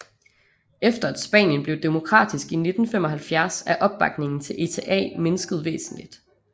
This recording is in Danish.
Efter at Spanien blev demokratisk i 1975 er opbakningen til ETA mindsket væsentligt